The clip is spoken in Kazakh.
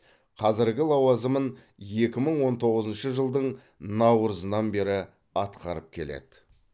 қазіргі лауазымын екі мың он тоғызыншы жылдың наурызынан бері атқарып келеді